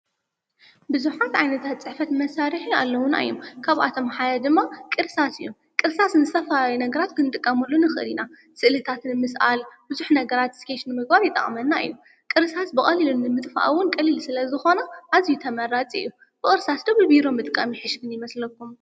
ብዙሓት ዓይነታት ፅሕፈት መሳርሒ ኣለዉና እዩም፡፡ ካብኣቶም ሓደ ድማ ቅርሳስ እዩ፡፡ ቅርሳስ ንዝተፈላለዩ ነገራት ክንጥቀመሉ ንኽል ኢና፡፡ ስእልታት ንምስኣል ብዙሕ ነገራት እስኬች ንምግባር ይጠቕመና እዩ፡፡ ቅርሳስ ብቐሊሉን ንምጥፍእውን ቀሊል ስለ ዝኾነ ኣዝዩ ተመራፂ እዩ፡፡ ብቕርሳስዶ ብቢሮ ምጥቃም ይሕሸኒ ይመስለኩም?